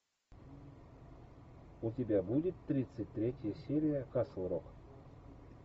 у тебя будет тридцать третья серия касл рок